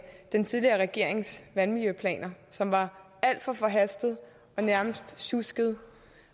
den tidligere regerings vandmiljøplaner som var alt for forhastede og nærmest sjuskede